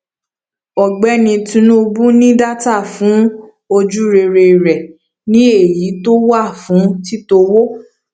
ọgbẹni tinubu ní data fún ojúrere rẹ ní èyí tó wà fún títọ owó